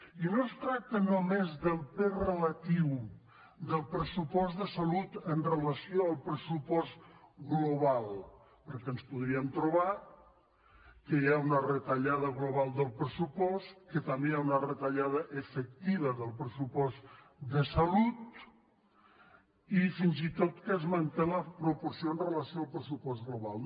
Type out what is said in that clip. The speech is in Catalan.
i no es tracta només del pes relatiu del pressupost de salut amb relació al pressupost global perquè ens podríem trobar que hi ha una retallada global del pressupost que també hi ha una retallada efectiva del pressupost de salut i fins i tot que es manté la proporció amb relació al pressupost global